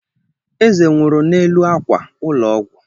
Eze nwụrụ n'elu akwa ụlọ ọgwụ.